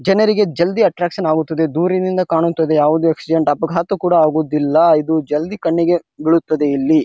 ಜನರಿಗೆ ಜಲ್ದಿ ಅಟ್ರಾಕ್ಷನ್ ಆಗುತ್ತದೆ ದೂರಿನಿಂದ ಕಾಣುವಂತದ್ದು ಯಾವದು ಆಕ್ಸಿಡೆಂಟ್ ಅಪಗಾತ ಕೂಡ ಆಗುವುದಿಲ್ಲಾ ಇದು ಜಲ್ದಿ ಕಣ್ಣಿಗೆ ಬೀಳುತ್ತದೆ ಇಲ್ಲಿ.